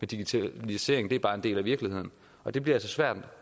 digitalisering bare er en del af virkeligheden og det bliver altså svært